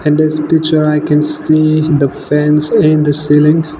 and this picture i can see the fans in the ceiling.